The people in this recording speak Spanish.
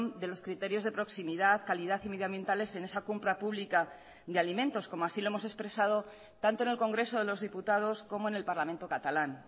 de los criterios de proximidad calidad y medio ambientales en esa compra pública de alimentos como así lo hemos expresado tanto en el congreso de los diputados como en el parlamento catalán